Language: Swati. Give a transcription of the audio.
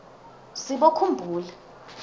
sibokhumbula